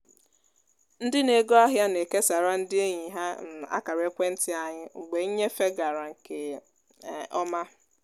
ndị n'ego ahịa na-ekesara ndị enyi ha um akara ekwenti anyị mgbe nnyefe gara nke um ọma